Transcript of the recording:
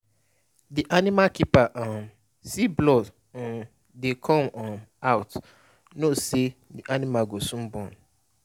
the animal keeper um see blood um dey come um out and know say the animal go soon born.